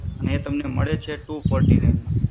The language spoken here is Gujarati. અને એ તમને એ મળે છે two forty nine માં.